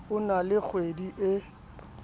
o na le kgohedi e